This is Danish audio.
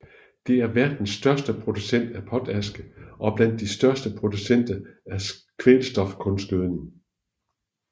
Det er verdens største producent af potaske og blandt de største producenter af kvælstofkunstgødning